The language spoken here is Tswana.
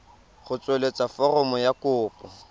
go tsweletsa foromo ya kopo